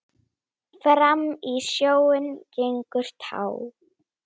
Fram í sjóinn gengur tá.